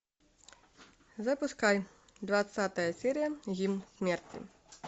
запускай двадцатая серия гимн смерти